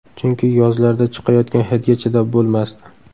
Chunki yozlarda chiqayotgan hidga chidab bo‘lmasdi.